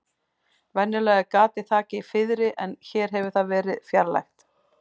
Venjulega er gatið þakið fiðri en hér hefur það verið fjarlægt.